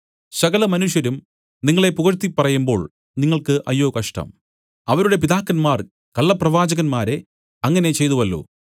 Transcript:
സകലമനുഷ്യരും നിങ്ങളെ പുകഴ്ത്തിപ്പറയുമ്പോൾ നിങ്ങൾക്ക് അയ്യോ കഷ്ടം അവരുടെ പിതാക്കന്മാർ കള്ളപ്രവാചകന്മാരെ അങ്ങനെ ചെയ്തുവല്ലോ